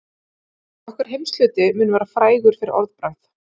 Okkar heimshluti mun vera frægur fyrir orðbragð.